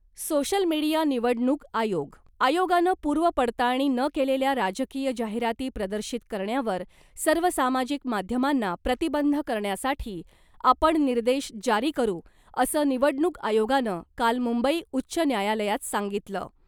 Social media, निवडणूक आयोग. आयोगानं पूर्व पडताळणी न केलेल्या राजकीय जाहिराती प्रदर्शित करण्यावर सर्व सामाजिक माध्यमांना प्रतिबंध करण्यासाठी आपण निर्देश जारी करू, असं निवडणूक आयोगानं काल मुंबई उच्च न्यायालयात सांगितलं .